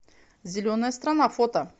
зеленая страна фото